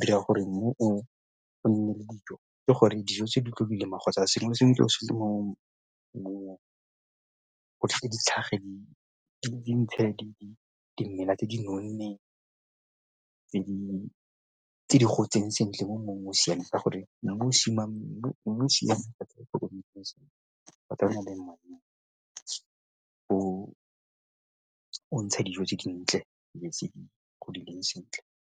dira gore mmu o nne le dijo ke gore dijo tse di tlo kgotsa sengwe le sengwe ke o sentle mo di di ntshe dimela tse di nonneng tse di gotseng sentle mo mmung o o siameng ka gore mmu o o o ntsha dijo tse dintle le tse di leng sentle.